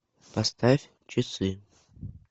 поставь часы